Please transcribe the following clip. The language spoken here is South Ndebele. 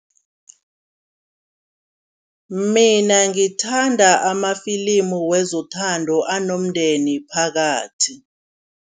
Mina ngithanda amafilimu wezothando anomndeni phakathi.